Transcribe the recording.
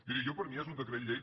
miri jo per mi és un decret llei